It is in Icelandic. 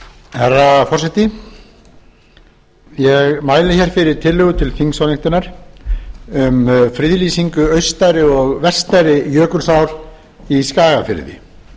herra forseti ég mæli hér fyrir tillögu þingsályktunar um friðlýsingu austari og vestari jökulsár í skagafirði